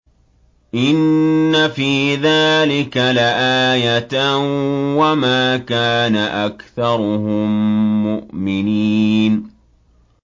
إِنَّ فِي ذَٰلِكَ لَآيَةً ۖ وَمَا كَانَ أَكْثَرُهُم مُّؤْمِنِينَ